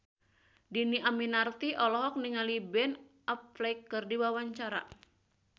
Dhini Aminarti olohok ningali Ben Affleck keur diwawancara